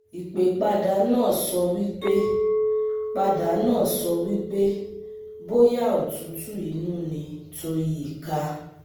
Ipe pada nurse sowipe pada nurse sowipe boya otutu inu ni to yika